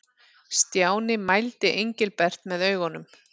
Stjáni mældi Engilbert með augunum.